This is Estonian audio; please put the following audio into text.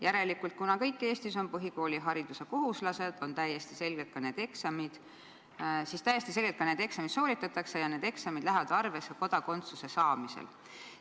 Järelikult, kuna kõigil Eestis on põhikoolihariduse kohustus, siis täiesti selgelt ka need eksamid sooritatakse ja need eksamid lähevad arvesse kodakondsuse saamisel.